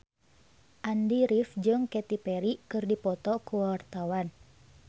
Andy rif jeung Katy Perry keur dipoto ku wartawan